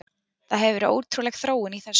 Það hefur verið ótrúleg þróun í þessu.